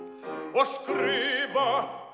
og skrifa